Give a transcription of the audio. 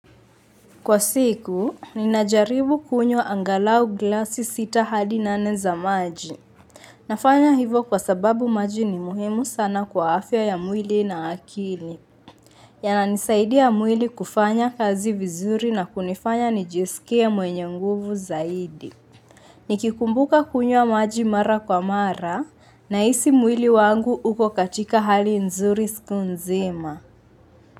Kwa siku, ninajaribu kunywa angalau glasi sita hadi nane za maji. Nafanya hivo kwa sababu maji ni muhimu sana kwa afya ya mwili na akili. Yananisaidia mwili kufanya kazi vizuri na kunifanya nijiskie mwenye nguvu zaidi. Nikikumbuka kunywa maji mara kwa mara na isi mwili wangu uko katika hali nzuri siku nzima.